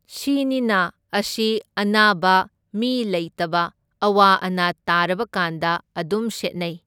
ꯁꯤꯅꯤꯅ ꯑꯁꯤ ꯑꯅꯥꯕ, ꯃꯤ ꯂꯩꯇꯕ, ꯑꯋꯥ ꯑꯅꯥ ꯇꯥꯔꯕꯀꯥꯟꯗ ꯑꯗꯨꯝ ꯁꯦꯠꯅꯩ꯫